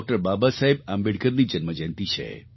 બાબાસાહેબ આંબેડકરની જન્મજયંતી છે